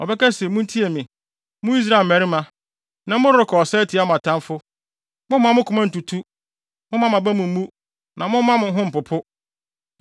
Ɔbɛka se, “Muntie me, mo Israel mmarima! Nnɛ, morekɔ ɔsa atia mo atamfo. Mommma mo koma ntutu! Mommma mo aba mu mmu na momma mo ho mpopo.